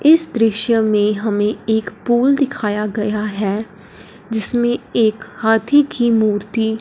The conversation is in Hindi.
इस दृश्य में हमें एक पूल दिखाया गया है जिसमें एक हाथी की मूर्ति--